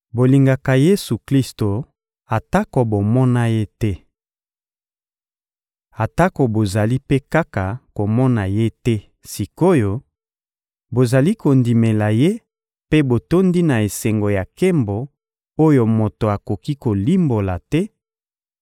Bolingaka Yesu-Klisto atako bomona Ye te. Atako bozali mpe kaka komona Ye te sik’oyo, bozali kondimela Ye mpe botondi na esengo ya nkembo oyo moto akoki kolimbola te,